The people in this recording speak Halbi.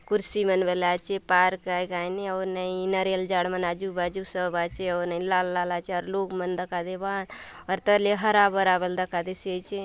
कुर्सी मन बले आचे पार्क आय कायनी आऊर नई नारियल झाड़ मन आजू बाजू सब आचे आऊर नई लाल-लाल आचे लोग मन बले दखा देबा आत आऊर तले हरा-भरा बले दखा देयसि आचे--